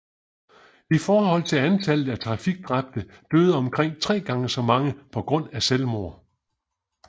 I forhold til antallet af trafikdræbte døde omkring tre gange så mange på grund af selvmord